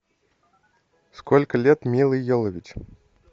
сколько лет миле йовович